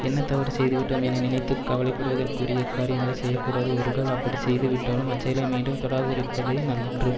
என்ன தவறு செய்துவிட்டோம் என நினைத்து கவலைப்படுவதற்குரிய காரியங்களை செய்ய கூடாது ஒருகால் அப்படி செய்து விட்டாலும் அச்செயலை மீண்டும் தொடராதிருப்பதே நன்று